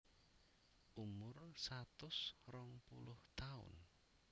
Umur satus rong puluh taun